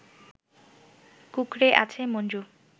কুঁকড়ে আছে মঞ্জু